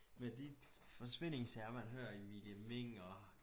Med de forsvindingssager man hører Emilie Meng og